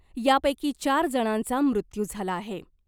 यापैकी चार जणांचा मृत्यू झाला आहे .